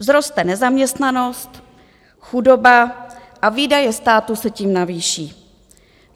Vzroste nezaměstnanost, chudoba a výdaje státu se tím navýší.